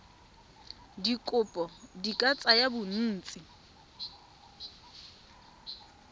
dikopo di ka tsaya bontsi